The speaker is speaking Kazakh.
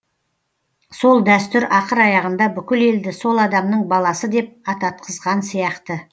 сол дәстүр ақыр аяғында бүкіл елді сол адамның баласы деп ататқызған сияқты